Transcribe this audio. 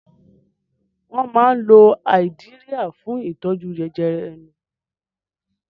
Wọ́n máa ń lo Áídíríà fún ìtọ́jú jẹjẹrẹ ẹnu.